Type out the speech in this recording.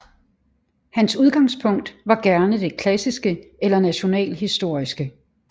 Hans udgangspunkt var gerne det klassiske eller nationalhistoriske